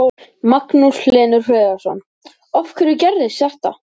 Magnús Hlynur Hreiðarsson: Af hverju gerist þetta?